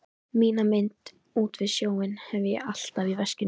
Mína mynd út við sjóinn hef ég alltaf í veskinu.